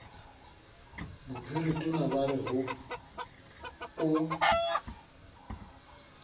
bophiritona ba re ho o